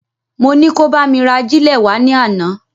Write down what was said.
Mo ni kó bá mi ra agílè wá ní àná